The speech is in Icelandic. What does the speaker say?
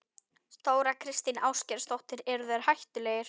Þóra Kristín Ásgeirsdóttir: Eru þeir hættulegir?